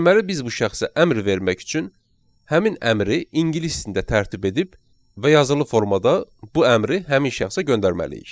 Deməli biz bu şəxsə əmr vermək üçün həmin əmri ingilis dilində tərtib edib və yazılı formada bu əmri həmin şəxsə göndərməliyik.